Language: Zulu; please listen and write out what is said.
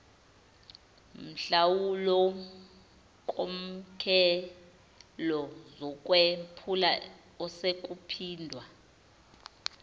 nhlawulonkokhelo zokwephula osekuphindwa